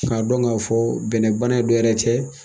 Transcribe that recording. K'a dɔn k'a fɔ bɛnɛbana dɔ yɛrɛ tɛ